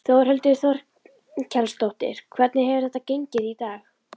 Þórhildur Þorkelsdóttir: Hvernig hefur þetta gengið í dag?